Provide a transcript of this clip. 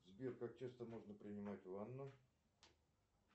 сбер как часто можно принимать ванну